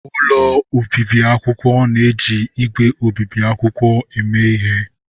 Ụlọ obibi akwụkwọ na-eji ígwè obibi akwụkwọ eme ihe.